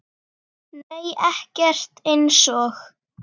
Nei ekkert eins og